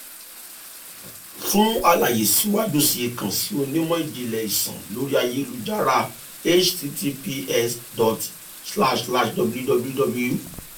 fun alaye siwaju sii kan si onimọ jinlẹ iṣan lori ayelujara https dot slash slash www